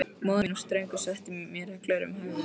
Móðir mín var ströng og setti mér reglur um hegðun.